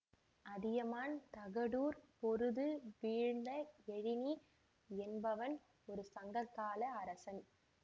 அதியமான் தகடூர் பொருது வீழ்ந்த எழினி என்பவன் ஒரு சங்ககால அரசன்